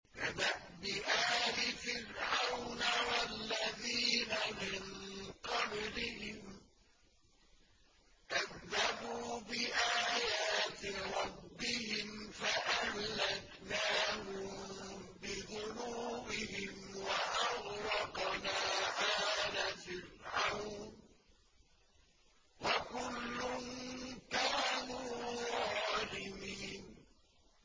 كَدَأْبِ آلِ فِرْعَوْنَ ۙ وَالَّذِينَ مِن قَبْلِهِمْ ۚ كَذَّبُوا بِآيَاتِ رَبِّهِمْ فَأَهْلَكْنَاهُم بِذُنُوبِهِمْ وَأَغْرَقْنَا آلَ فِرْعَوْنَ ۚ وَكُلٌّ كَانُوا ظَالِمِينَ